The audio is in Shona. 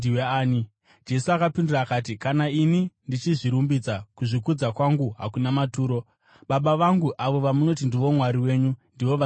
Jesu akapindura akati, “Kana ini ndichizvirumbidza, kuzvikudza kwangu hakuna maturo. Baba vangu, avo vamunoti ndivo Mwari wenyu, ndivo vanondikudza.